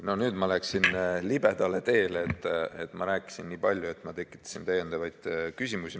No nüüd ma läksin libedale teele – ma rääkisin nii palju, et tekitasin täiendavaid küsimusi.